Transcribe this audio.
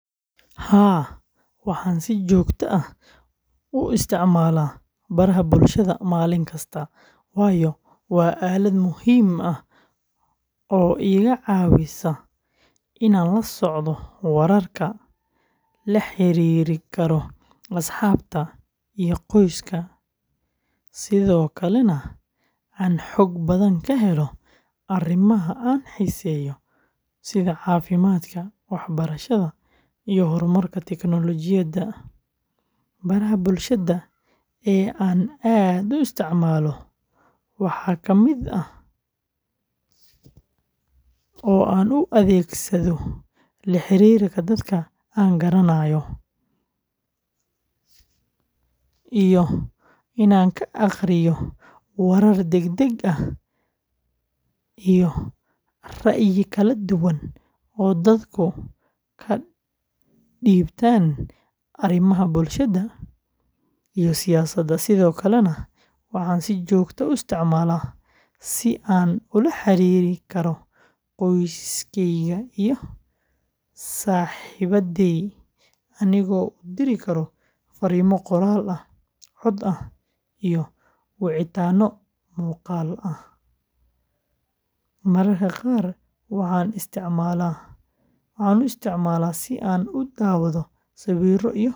Haa, waxaan si joogto ah u isticmaalaa baraha bulshada maalin kasta, waayo waa aalad muhiim ah oo iga caawisa inaan la socdo wararka, la xiriiri karo asxaabta iyo qoyska, sidoo kalena aan xog badan ka helo arrimaha aan xiiseeyo sida caafimaadka, waxbarashada, iyo horumarka tiknoolajiyadda. Baraha bulshada ee aan aad u isticmaalo waxaa aan u adeegsado la xiriirka dadka aan garanayo, iyo in aan ka akhriyo warar degdeg ah iyo ra’yi kala duwan oo dadku ka dhiibtaan arrimaha bulshada iyo siyaasadda. Sidoo kale, waxaan si joogto ah u isticmaalaa si aan ula xiriiri karo qoyskeyga iyo saaxiibadey anigoo u diri kara fariimo qoraal ah, cod ah, iyo wicitaano muuqaal ah. Mararka qaar waxaan isticmaalaa Instagram si aan u daawado sawirro iyo muuqaallo xiiso leh .